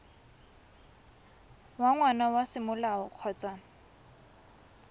wa ngwana wa semolao kgotsa